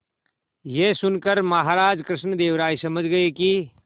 यह सुनकर महाराज कृष्णदेव राय समझ गए कि